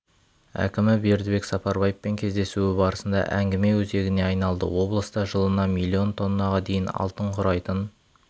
әкімі бердібек сапарбаевпен кездесуі барысында әңгіме өзегіне айналды облыста жылына миллион тоннаға дейін алтын құрайтын